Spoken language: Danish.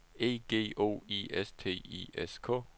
E G O I S T I S K